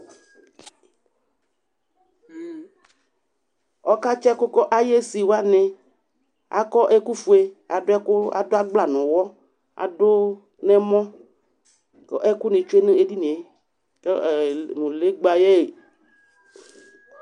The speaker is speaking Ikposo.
Ɔkaysi ɛkʋ k'ayisi wani, akɔ ɛkʋ fue, adʋ ɛkʋ adʋ agbla n'ʋwɔ adʋ n'ɛmɔ kʋ alʋni tsue n'edini yɛ, kɛ, ee mb legba yɛ eƒe